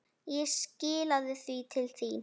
Ég skilaði því til þín.